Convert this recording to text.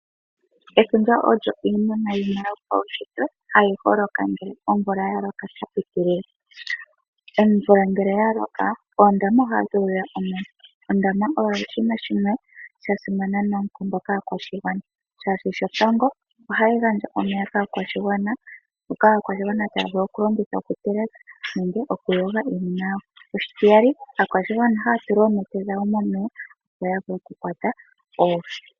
Efundja iinima yimwe yomaunshitwe hayi holoka ngele omvula ya loka sha pitilila. Omvula ngele ya loka oondama ohadhi udha omeya. Ondama oyo oshinima shono sha simana noonkondo kaakwashigwana shaashi shotango, ohayi gandja omeya kaakwashigwana ngoka aakwashigwana taya vulu oku longitha oku teleka nenge oku yoga iinima yawo, oshitiyali aakwashigwana ohaya tula oonete dhawo momeya opo ya vule oku kwata oohi.